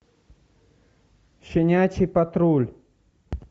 щенячий патруль